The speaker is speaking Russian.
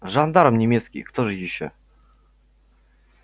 жандарм немецкий кто же ещё